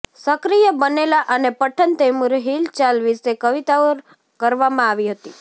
સક્રિય બનેલા અને પઠન તૈમુર હિલચાલ વિશે કવિતાઓ કરવામાં આવી હતી